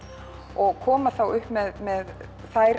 og koma þá upp með með þær